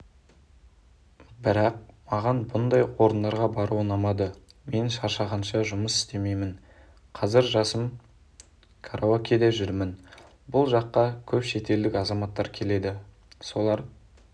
бірақ маған мұндай орындарға бару ұнамады мен шаршағанша жұмыс істемеймін қазір жасым караокеде жүрмін бұл жаққа көп шетелдік азаматтар келеді солар